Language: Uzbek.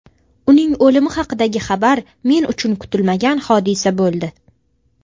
Uning o‘limi haqidagi xabar men uchun kutilmagan hodisa bo‘ldi.